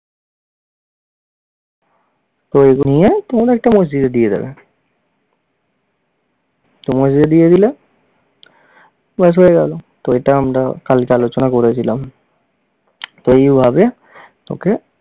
তো এগুলি নিয়ে তোমরা একটা মসজিদে দিয়ে দেবে। তো মসজিদে দিয়ে দিলে, ব্যাস হয়ে গেল। তো এটা আমরা কালকে আলোচনা করেছিলাম তো এইভাবে তোকে